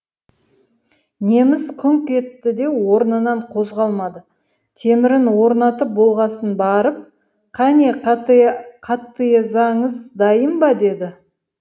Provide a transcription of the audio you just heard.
неміс күңк етті де орнынан қозғалмады темірін орнатып болғасын барып кәне қытаезаңыз дайын ба деді